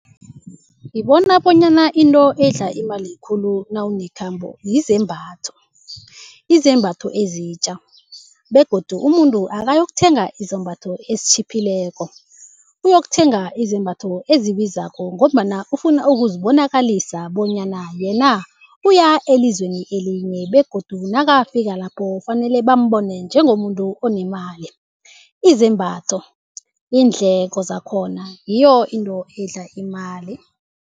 Ngibona bonyana into edla imali khulu nawunekhambo yizembatho. Izembatho ezitja begodu umuntu akayokuthenga izambatho ezitjhiphileko, uyokuthenga izembatho ezibizako ngombana ufuna ukuzibonakalisa bonyana yena uya elizweni elinye begodu nakafika lapho kufanele bambona njengomuntu onemali. Izembatho iindleko zakhona ngiyo into edla imali.